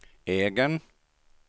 egen